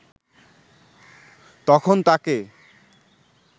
তখন তাকে